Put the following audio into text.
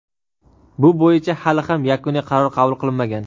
bu bo‘yicha hali ham yakuniy qaror qabul qilinmagan.